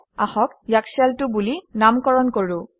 আহক ইয়াক শেল 2 বুলি নামকৰণ কৰোঁ